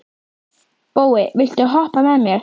Bói, viltu hoppa með mér?